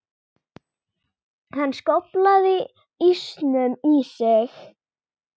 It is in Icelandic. Hann skóflaði ísnum í sig.